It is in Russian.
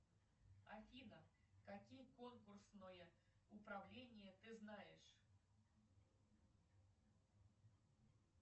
афина какие конкурсное управление ты знаешь